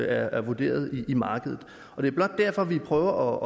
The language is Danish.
er vurderet i markedet det er blot derfor at vi prøver